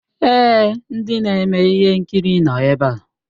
Èé, ndị na-eme ihe nkiri nọ ebe a.